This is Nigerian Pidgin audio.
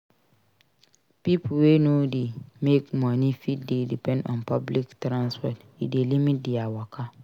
Pipo wey no dey make money fit dey depend on public transport e dey limit their waka